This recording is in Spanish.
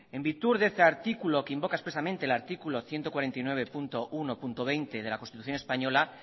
en virtud deese artículo que invoca expresamente el artículo ciento cuarenta y nueve punto uno punto veinte de la constitución española